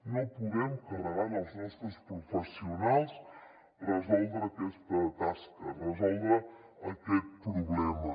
no podem carregar en els nostres professionals resoldre aquesta tasca resoldre aquest problema